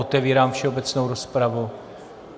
Otevírám všeobecnou rozpravu.